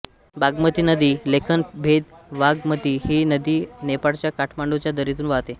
बागमती नदी लेखनभेदबाघमती ही नदी नेपाळच्या काठमांडूच्या दरीतून वाहते